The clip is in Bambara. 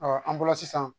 an bolo sisan